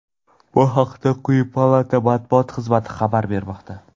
Bu haqda quyi palata Matbuot xizmati xabar bermoqda.